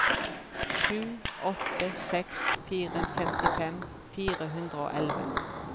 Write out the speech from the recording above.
sju åtte seks fire femtifem fire hundre og elleve